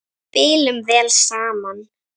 Spilum vel saman.